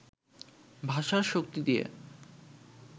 ভাষার শক্তি দিয়ে